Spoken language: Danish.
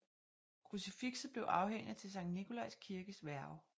Krucifixet blev afhændet til Sankt Nikolajs Kirkes værge